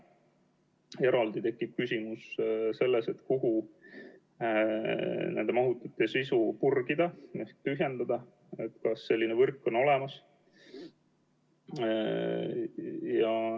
Eraldi tekib küsimus, kuhu kogu nende mahutite sisu purgida ehk tühjendada, kas selline võrk on olemas.